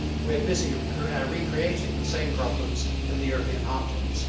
We are busy recreating the same problems in the European heartlands.